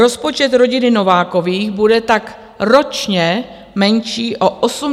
Rozpočet rodiny Novákových bude tak ročně menší o 87 200 korun.